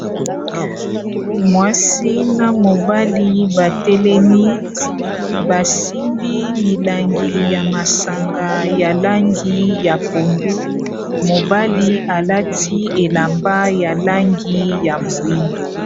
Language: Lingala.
mwasi na mobali batelemi basimbi milangi ya masanga ya langi ya pondu mobali alati elamba ya langi ya moyindo